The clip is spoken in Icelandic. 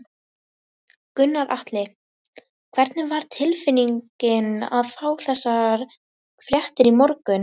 Gunnar Atli: Hvernig var tilfinningin að fá þessar fréttir í morgun?